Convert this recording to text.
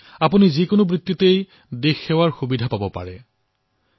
আপুনি যে পেছাৰেই নহওক কিয় প্ৰতিটো খণ্ডতে দেশলৈ সেৱা আগবঢ়োৱাৰ অনেক সুবিধা আছে